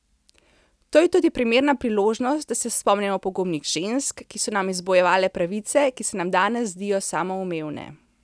To je tudi primerna priložnost, da se spomnimo pogumnih žensk, ki so nam izbojevale pravice, ki se nam danes zdijo samoumevne.